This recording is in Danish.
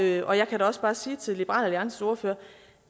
jeg kan da også bare sige til liberal alliances ordfører